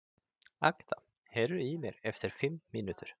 Agða, heyrðu í mér eftir fimm mínútur.